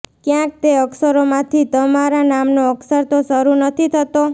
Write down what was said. ક્યાંક તે અક્ષરો માંથી તમારા નામનો અક્ષર તો શરુ નથી થતો